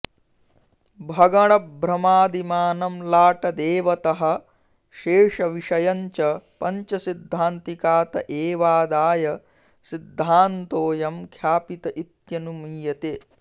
भगणभ्रमादिमानं लाटदेवतः शेषविषयञ्च पञ्चसिद्धान्तिकात एवादाय सिद्धान्तोऽयं ख्यापित इत्यनुमीयते